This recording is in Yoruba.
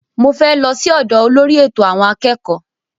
Mo fẹ́ lọ sí ọ́dọ olórí ẹ̀tọ̀ àwọn akẹ́kọ̀ọ́